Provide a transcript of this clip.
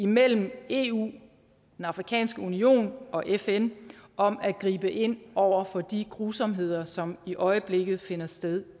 mellem eu den afrikanske union og fn om at gribe ind over for de grusomheder som i øjeblikket finder sted